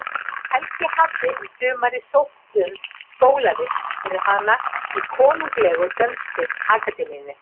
Helgi hafði um sumarið sótt um skólavist fyrir hana í Konunglegu dönsku akademíunni.